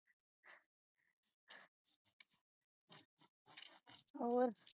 ਹੋਰ